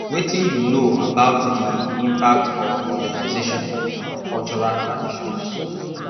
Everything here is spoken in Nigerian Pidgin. wetin you know about di impact of modernization on our cultural traditions